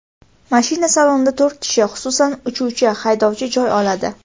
Mashina salonida to‘rt kishi, xususan, uchuvchi-haydovchi joy oladi.